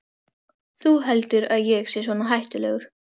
Þú heldur að ég sé svona hættulegur?